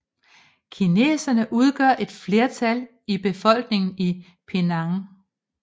Kineserne udgør et flertal i befolkningen i Penang